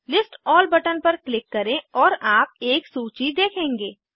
list all button पर click करें और आप एक सूची देखेंगे